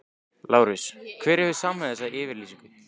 LÁRUS: Hver hefur samið þessa yfirlýsingu?